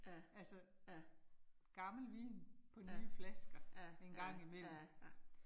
Ja, ja. Ja ja ja ja